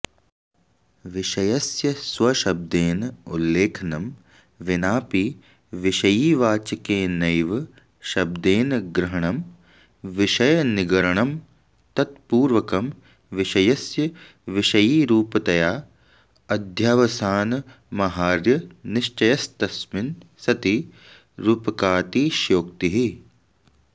विषयस्य स्वशब्देन उल्लेखनं विनापि विषयिवाचकेनैव शब्देन ग्रहणं विषयनिगरणं तत्पूर्वकं विषयस्य विषयिरूपतया अध्यवसानमाहार्यनिश्चयस्तस्मिन् सति रूपकातिशयोक्तिः